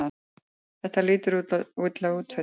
Þetta lítur illa út fyrir þig